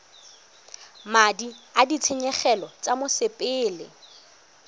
madi a ditshenyegelo tsa mosepele